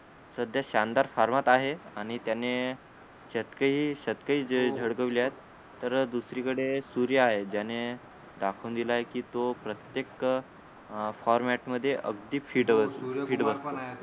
सध्या शानदार फॉर्मात आहे आणि त्याने शतकेही शतकेही जे झळकवले आहे तर दुसरीकडे सूर्या आहे ज्याने दाखवून दिल आहे की तो प्रत्येक अं format मध्ये अगदी fit होतो fit बसतो